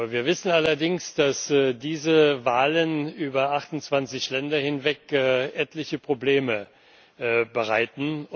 Wir wissen allerdings, dass diese Wahlen über 28 Länder hinweg etliche Probleme bereiten.